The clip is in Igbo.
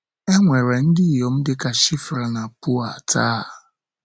È nwere ndị inyom dị ka Shifra na Pua taa?